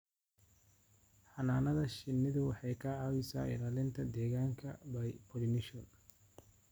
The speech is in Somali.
Xannaanada shinnidu waxay ka caawisaa ilaalinta deegaanka by pollination.